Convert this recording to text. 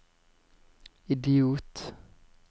idiot